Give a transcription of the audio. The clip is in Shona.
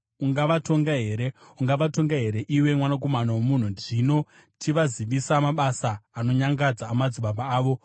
“Ungavatonga here? Ungavatonga here, iwe mwanakomana womunhu? Zvino chivazivisa mabasa anonyangadza amadzibaba avo,